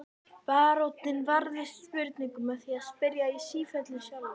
Baróninn varðist spurningum með því að spyrja í sífellu sjálfur.